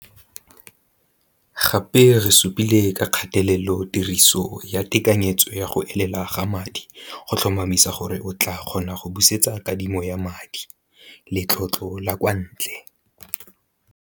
Gape re supile ka kgatelelo tiriso ya tekanyetso ya go elela ga madi go tlhomamisa gore o tlaa kgona go busetsa kadimo ya madi letlotlo la kwa ntle.